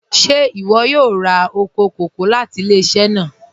Ṣẹ̀ iwọ yóò rá oko kòkò̀ láti ilẹ̀-iṣẹ̀ náà?